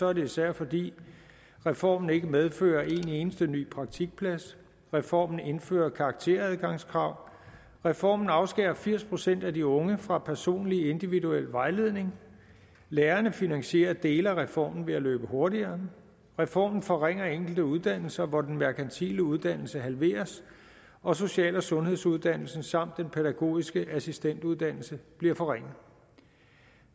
er det især fordi reformen ikke medfører en eneste ny praktikplads reformen indfører karakteradgangskrav reformen afskærer firs procent af de unge fra personlig individuel vejledning lærerne finansierer dele af reformen ved at løbe hurtigere reformen forringer enkelte uddannelser hvor den merkantile uddannelse halveres og social og sundhedsuddannelsen samt pædagogisk assistent uddannelsen bliver forringet